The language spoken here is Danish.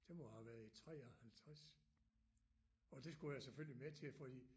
Det må have været i 53 og det skulle jeg selvfølgelig med til fordi